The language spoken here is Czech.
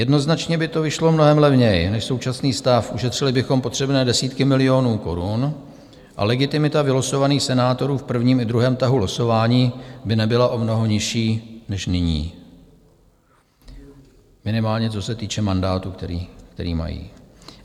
Jednoznačně by to vyšlo mnohem levněji než současný stav, ušetřili bychom potřebné desítky milionů korun a legitimita vylosovaných senátorů v prvním i druhém tahu losování by nebyla o mnoho nižší než nyní, minimálně co se týče mandátu, který mají.